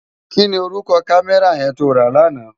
Ki ni órúkò kámèrá yèn tó rá làná?